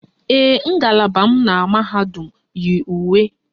Ee, ngalaba m na mahadum yi uwe